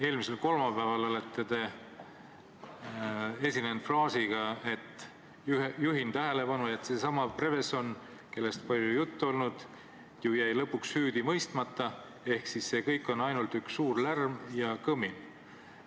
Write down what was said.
Eelmisel kolmapäeval olete te esinenud fraasiga – juhin tähelepanu –, et seesama Prevezon, kellest palju juttu on olnud, jäi ju lõpuks süüdi mõistmata ehk see kõik on ainult üks suur lärm ja kõmin.